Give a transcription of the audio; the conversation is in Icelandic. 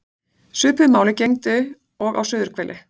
Svipuðu máli gegndi og á suðurhveli.